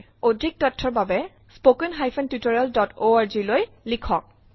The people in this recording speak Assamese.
অধিক তথ্যৰ বাবে spoken hyphen tutorial dot org লৈ লিখক